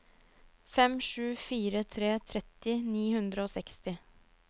fem sju fire tre tretti ni hundre og seksti